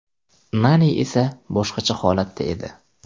Nani esa boshqacha holatda edi.